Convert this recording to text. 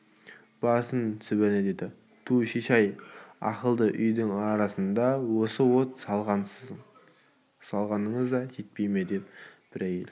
барсын сібіріне деді түу шешей-ай ауыл-үйдің арасына осы от салғаныңыз да жетпей ме деп бір әйел